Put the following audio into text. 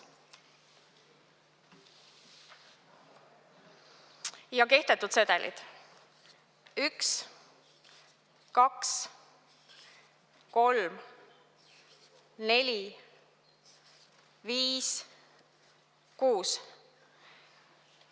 Ja kehtetud sedelid: 1, 2, 3, 4, 5, 6.